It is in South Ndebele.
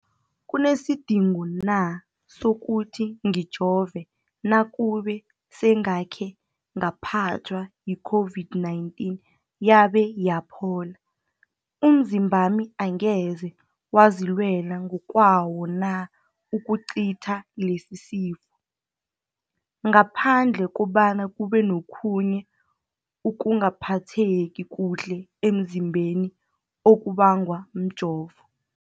kunesidingo na sokuthi ngijove nakube sengakhe ngaphathwa yi-COVID-19 yabe yaphola? Umzimbami angeze wazilwela ngokwawo na ukucitha lesisifo, ngaphandle kobana kube nokhunye ukungaphatheki kuhle emzimbeni okubangwa mjovo?